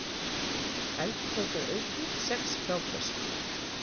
Helgi tók að auki sex fráköst